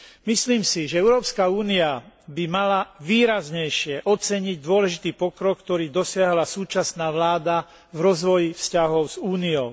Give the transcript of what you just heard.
Myslím si, že Európska únia by mala výraznejšie oceniť dôležitý pokrok, ktorý dosiahla súčasná vláda v rozvoji vzťahov s Úniou.